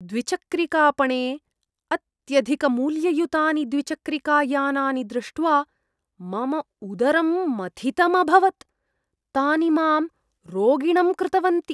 द्विचक्रिकापणे अत्यधिकमूल्ययुतानि द्विचक्रिकायानानि दृष्ट्वा मम उदरं मथितमभवत्। तानि माम् रोगिणं कृतवन्ति।